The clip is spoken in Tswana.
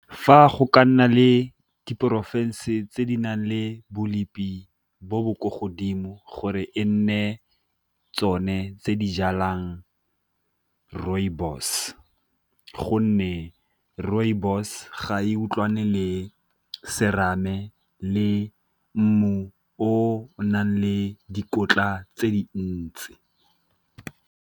Fa go ka nna le diporofense tse di nang le bo bo ko godimo gore e nne tsone tse di jalang rooibos, gonne rooibos ga e utlwane le serame le mmu o nang le dikotla tse dintsi.